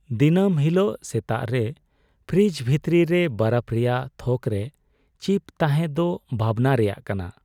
ᱫᱤᱱᱟᱹᱢ ᱦᱤᱞᱳᱜ ᱥᱮᱛᱟᱜ ᱨᱮ ᱯᱷᱨᱤᱡᱽ ᱵᱷᱤᱛᱨᱤ ᱨᱮ ᱵᱚᱨᱚᱯᱷ ᱨᱮᱭᱟᱜ ᱛᱷᱚᱠᱨᱮ ᱪᱤᱯ ᱛᱟᱦᱮᱱ ᱫᱚ ᱵᱷᱟᱵᱽᱱᱟ ᱨᱮᱭᱟᱜ ᱠᱟᱱᱟ ᱾